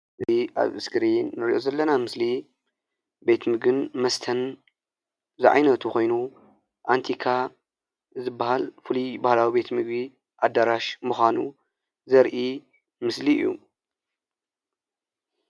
እዚ ኣብ እስክሪን ንሪኦ ዘለና ምስሊ ቤት ምግብን መስተን ዝዓይነቱ ኮይኑ ኣንቲካ ዝበሃል ፍሉይ ባህላዊ ቤት ምግቢ ኣዳራሽ ምዃኑ ዘርኢ ምስሊ እዩ ።